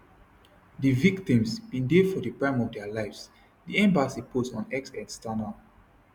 di victims bin dey for di prime of dia lives di embassy post on x external